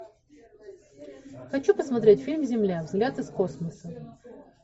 хочу посмотреть фильм земля взгляд из космоса